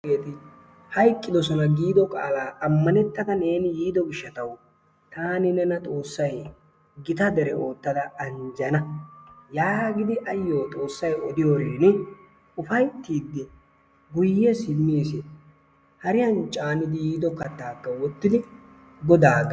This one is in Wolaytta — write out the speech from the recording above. Hayqidoosona. giido qaalaa ammanettada neeni yiido giishshatwu taani nena xoossay gitta dere oottada anjjana yaagidi ayoo xoossay odiyoorin ufayttiidi guyye simmis. hariyaan caani yiido kaattaaka woottidi godaa